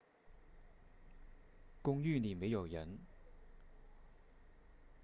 公寓里没有人